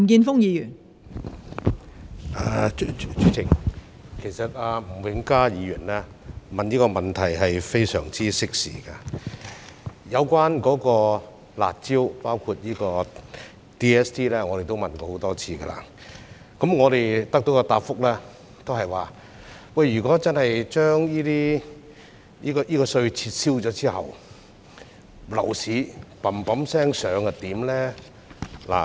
代理主席，其實吳永嘉議員提出這項質詢非常適時，有關"辣招"，包括 DSD， 我們已經問過很多次，得到的答覆也是，如果真的撤銷這稅項，樓市飆升怎麼辦呢？